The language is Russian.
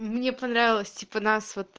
мне понравилось типа нас вот